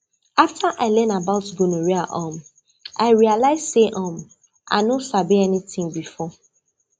after i learn about gonorrhea um i realize say um i no sabi anything before